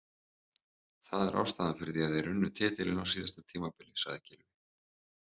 Það er ástæðan fyrir því að þeir unnu titilinn á síðasta tímabili, sagði Gylfi.